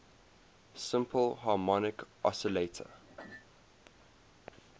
simple harmonic oscillator